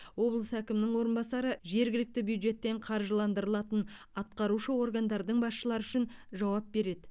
облыс әкімінің орынбасары жергілікті бюджеттен қаржыландырылатын атқарушы органдардың басшылары үшін жауап береді